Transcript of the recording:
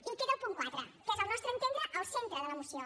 i queda el punt quatre que és al nostre entendre el centre de la moció